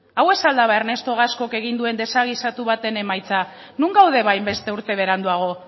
hau ez al da ba ernesto gascok egin duen desagisatu baten emaitza non gaude ba hainbeste urte beranduago